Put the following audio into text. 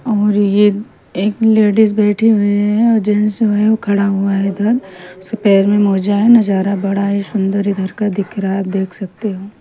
और ये एक लेडीज बैठी हुई हैं और जेंट्स है वो खड़ा हुआ है इधर सो पैर में मोजा है नज़ारा बड़ा ही सुंदर इधर का दिख रहा है आप देख सकते हो।